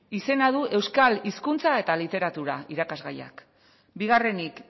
izena du euskal hizkuntza eta literatura irakasgaiak bigarrenik